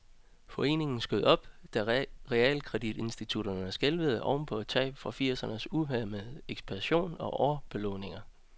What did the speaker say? Foreningen skød op, da realkreditinstitutterne skælvede oven på tab fra firsernes uhæmmede ekspansion og overbelåninger.